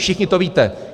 Všichni to víte.